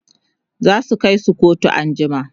zasu Kai su kotu an jima